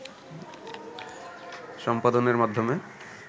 সম্পাদনের মাধ্যমে